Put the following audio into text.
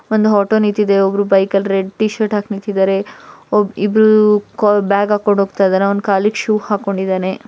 ಒಂದು ಆಟೋ ನಿಂತಿದೆ ಒಬ್ಬರು ಬೈಕ್ ಅಲ್ಲಿ ರೆಡ್ ಟಿ ಶರ್ಟ್ ಹಾಕಿ ನಿಂತಿದ್ದಾರೆ ಒಬ್ ಇಬ್ಬರೂ ಬ್ಯಾಗ ಹಾಕೊಂಡು ಹೋಗ್ತಾ ಇದ್ದಾರೆ ಅವ್ನ್ ಕಾಲಿಗೆ ಶೂ ಹಾಕೊಂಡಿದ್ದಾನೆ .